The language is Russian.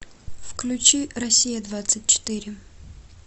включи россия двадцать четыре